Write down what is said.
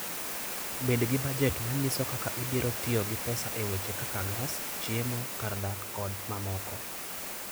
Bed gi bajet manyiso kaka ibiro tiyo gi pesa e weche kaka gas, chiemo, kar dak, kod mamoko.